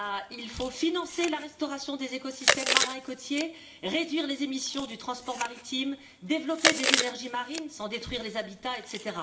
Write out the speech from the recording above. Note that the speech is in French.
Il faut financer la restauration des écosystèmes marins et côtiers, réduire les émissions du transport maritime, développer des énergies marines sans détruire les habitats, etc.